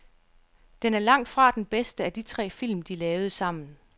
Den er langt fra den bedste af de tre film, de lavede sammen.